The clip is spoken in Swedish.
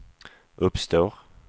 uppstår